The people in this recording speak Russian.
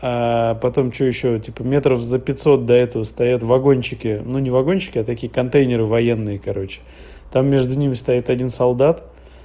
а потом что ещё типа метров за пятьсот до этого стоят вагончики ну не вагончики а такие контейнеры военные короче там между ними стоит один солдат